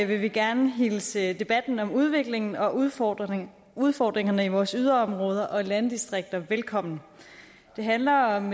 vil vi gerne hilse debatten om udviklingen og udfordringerne udfordringerne i vores yderområder og landdistrikter velkommen det handler om